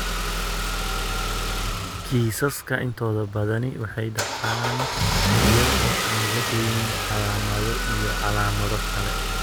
Kiisaska intooda badani waxay dhacaan iyada oo aan lahayn calaamado iyo calaamado kale.